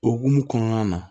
O hukumu kɔnɔna na